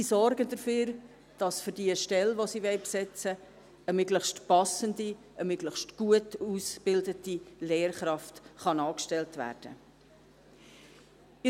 Und sie sorgen dafür, dass für die Stelle, die sie besetzen wollen, eine möglichst passende und möglichst gut ausgebildete Lehrkraft angestellt werden kann.